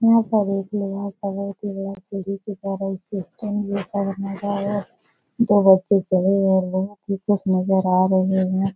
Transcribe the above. यहाँ पर एक लोहा का बहोत ही बड़ा दो बच्चे चले जा रहे है फिर कुछ नजर आ रहे हैं।